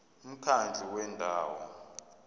umkhandlu wendawo ngerss